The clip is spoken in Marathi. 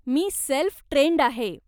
मी सेल्फ ट्रेन्ड आहे.